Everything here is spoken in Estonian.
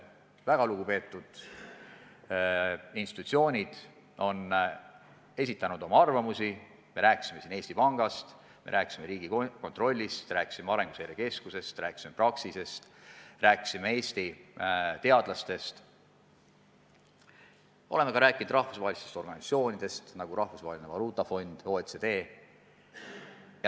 Väga lugupeetud institutsioonid on esitanud oma arvamusi – me rääkisime siin Eesti Pangast, me rääkisime Riigikontrollist, rääkisime Arenguseire Keskusest, rääkisime Praxisest, rääkisime Eesti teadlastest, oleme rääkinud ka rahvusvahelistest organisatsioonidest, nagu Rahvusvaheline Valuutafond ja OECD.